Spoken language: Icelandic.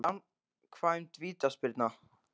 Framkvæmd vítaspyrna?